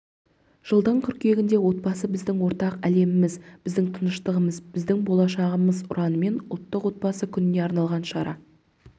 жылдың қыркүйегінде отбасы біздің ортақ әлеміміз біздің тыныштығымыз біздің болашағымыз ұранымен ұлттық отбасы күніне арналған шара